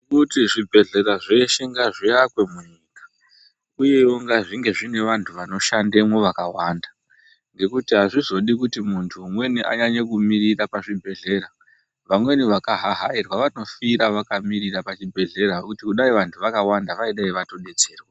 Kuti zvibhehlera zveshe ngazviakwe munyika uyewo ngazvinge zvine vantu vanoshandemwo vakawanda ngekuti hazvizodi kuti muntu umweni anyanye kumirira pazvibhehlera. Vamweni vakahahairwa vanofira vakamirira pachibhehlera kuti kudai vantu vakawanda vaidai vatodetserwa.